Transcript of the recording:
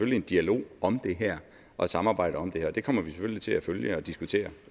en dialog om det her og et samarbejde om det her det kommer vi selvfølgelig til at følge og diskutere